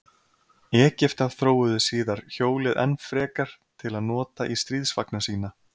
Egyptar þróuðu síðar hjólið enn frekar til að nota í stríðsvagna sína.